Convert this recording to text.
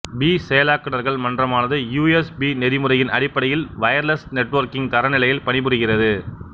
B செயலாக்குநர்கள் மன்றமானது U S B நெறிமுறையின் அடிப்படையில் வயர்லெஸ் நெட்வொர்க்கிங் தரநிலையில் பணிபுரிகின்றது